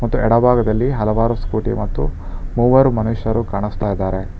ಮತ್ತು ಎಡ ಭಾಗದಲ್ಲಿ ಹಲವಾರು ಸ್ಕೂಟಿ ಮತ್ತು ಮೂವರು ಮನುಷ್ಯರು ಕಾಣಿಸ್ತಾ ಇದ್ದಾರೆ.